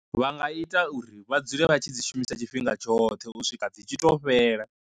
Vha nga ita uri vhadzule vha tshi dzi shumisa tshifhinga tshoṱhe u swika dzi tshi to fhela.